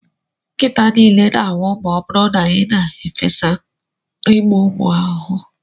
Nkịta niile ga-anwụ ma ọ bụrụ na ị na-efesa igbu ụmụ ahụhụ.